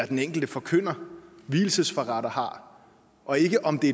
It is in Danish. den enkelte forkynder vielsesforretter har og ikke om det